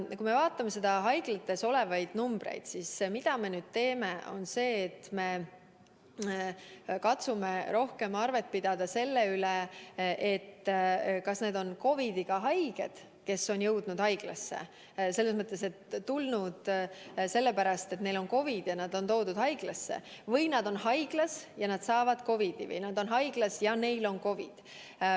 Kui me vaatame haiglates olevate inimeste arvu, siis nüüd me katsume rohkem arvet pidada selle üle, kas need on COVID-iga haiged, kes on jõudnud haiglasse – selles mõttes, et nad on toodud haiglasse sellepärast, et neil on COVID –, või nad on haiglas ja saavad seal COVID-i.